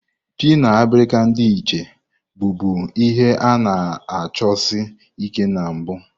Ji na abirika ndi Etche bụbu ihe a-na achosi Ike na mbu.